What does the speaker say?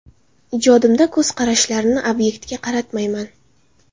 Ijodimda, ko‘z qarashlarini obyektga qaratmayman.